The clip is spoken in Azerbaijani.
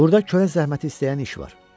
Burda körə zəhməti istəyən iş var.